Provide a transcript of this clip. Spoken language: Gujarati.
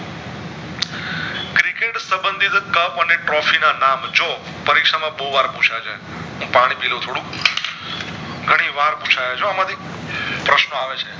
સંબંધી તો કપ અને ના નામ જો પરીક્ષા માં બોવ વાર પૂછય છે હું પાણી પીય લવ થોડું ઘણી વાર પૂછય છે આમાંથી પ્રશ્નો આવે છે